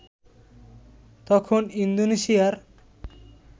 তখন ইন্দোনেশিয়ার